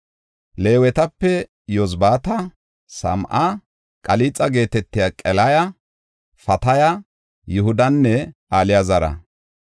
Leewetape, Yozabaata, Same7a, Qalixa geetetiya Qelaya, Fataya, Yihudanne Alaazara.